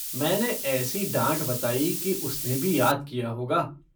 मैंने ऐसी डाँट बताई कि उसने भी याद किया होगा।